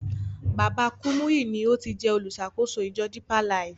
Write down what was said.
Baba Kúmúyì ni o ti jẹ́ oluṣàkóso ìjọ Depeer Life.